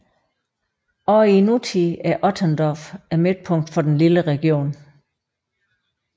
Også i nutiden er Otterndorf midtpunktet for den lille region